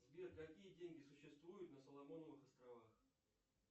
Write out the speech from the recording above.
сбер какие деньги существуют на соломоновых островах